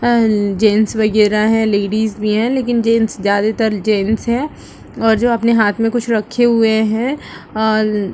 Gents वगहरा है ladies भी है लेकिन जेंट्स ज्यादातर जेन्ट्स है और जो अपने हाथ मैं कुछ रेखे हुए है। और